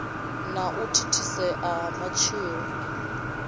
na u thithisea ha matshilo